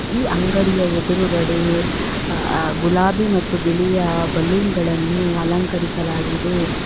ಈ ಅಂಗಡಿಯ ಎದುರುಗಡೆ ಗುಲಾಬಿ ಮತ್ತು ಬಿಳಿ ಬಲೂನ್ಗ ಳನ್ನು ಅಲಂಕರಿಸಲಾಗಿದೆ.